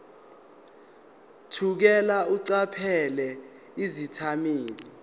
thukela eqaphela izethameli